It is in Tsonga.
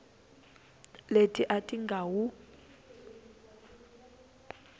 leti a ti nga wu